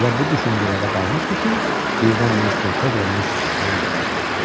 Elə bu düşüncələrə dalmışdı ki, birdən mister Foqla Missis Audanı gördü.